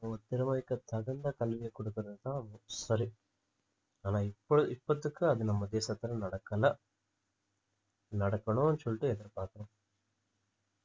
உங்க திறமைக்கு தகுந்த கல்வியை கொடுக்கிறதுதான் சரி ஆனா இப்ப~ இப்பத்திக்கு அது நம்ம தேசத்துல நடக்கலை நடக்கணும்னு சொல்லிட்டு எதிர்பார்க்கிறோம்